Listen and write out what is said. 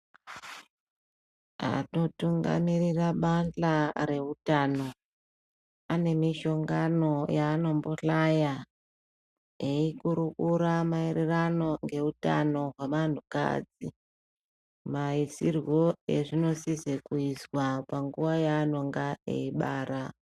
Vanotungamirira bandla reutano ane mihlongano yavanombohlaya, eikurukura maererano ngeutano hwevanhu kadzi ,maisirwo azvinosisoiswa panguwa yanenge eibara .